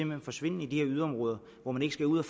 vil forsvinde i de her yderområder hvor man ikke skal ud